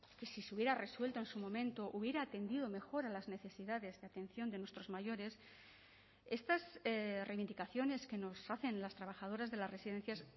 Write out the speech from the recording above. que si se hubiera resuelto en su momento hubiera atendido mejor a las necesidades de atención de nuestros mayores estas reivindicaciones que nos hacen las trabajadoras de las residencias